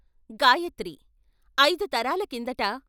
గాయత్రి ఐదు తరాల కిందట